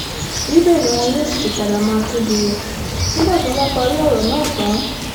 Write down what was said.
níbẹ̀ ni wọn yóò sì ti padà máa kéde rẹ̀ nígbà tí wọ́n bá parí àkójọpọ̀ náà tán